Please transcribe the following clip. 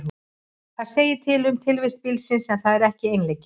Það segir til um tilvist bílsins, en það er ekki eiginleiki.